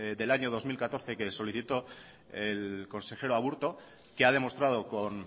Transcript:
del año dos mil catorce que solicitó el consejero aburto que ha demostrado con